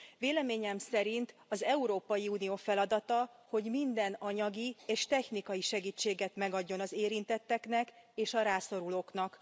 Véleményem szerint az Európai Unió feladata, hogy minden anyagi és technikai segítséget megadjon az érintetteknek és a rászorulóknak.